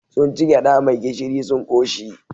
Sun ci gyaɗa mai gishiri sun ƙoshi.